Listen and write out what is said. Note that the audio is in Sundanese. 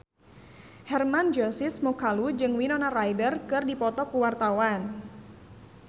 Hermann Josis Mokalu jeung Winona Ryder keur dipoto ku wartawan